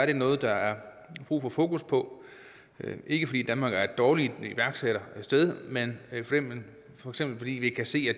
det noget der er brug for fokus på ikke fordi danmark er et dårligt iværksættersted men for eksempel fordi vi kan se at